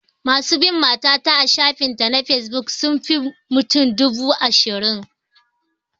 Masu bin mata ta a shafin ta na fesbuk sun fi mutum dubu ashirin